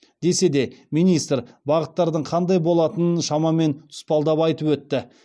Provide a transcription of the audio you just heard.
десе де министр бағыттардың қандай болатынын шамамен тұспалдап айтып өтті